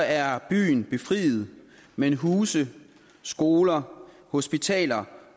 er byen befriet men huse skoler hospitaler